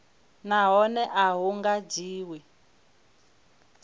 nahone a hu nga dzhiwi